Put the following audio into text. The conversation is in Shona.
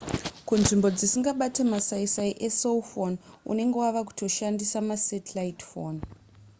kunzvimbo dzisingabate masaisai ecell phone unenge wava kutoshandisa masatelllite phone